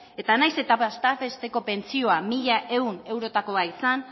eta nahiz eta bataz besteko pentsioa mila ehun eurotakoa izan